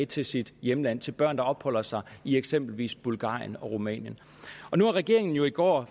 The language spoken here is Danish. til sit hjemland til børn der opholder sig i eksempelvis bulgarien rumænien og nu er regeringen jo i går